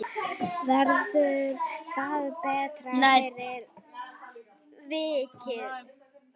Verður það betra fyrir vikið?